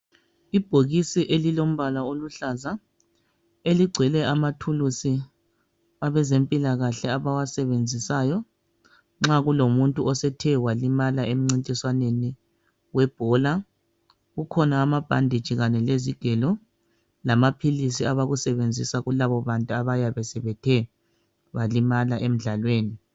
Ibhokisi elilombala oluhlaza eligcwele amathuluzi abezempilakahle abawasebenzisayo nxa kulomuntu esethe walimala emncintiswaneni webhola kukhona amabhanditshi kanye lezigelo lamaphilisi abakusebenzisa kulabo bantu abayabe sebethe balimala emdlalweni.